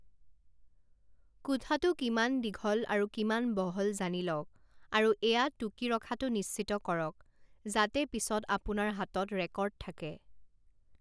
কোঠাটো কিমান দীঘল আৰু কিমান বহল জানি লওঁক আৰু এয়া টুকি ৰখাটো নিশ্চিত কৰক যাতে পিছত আপোনাৰ হাতত ৰেকৰ্ড থাকে।